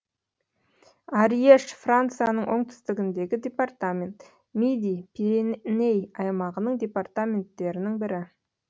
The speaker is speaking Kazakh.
арьеж францияның оңтүстігіндегі департамент миди пиреней аймағының департаменттерінің бірі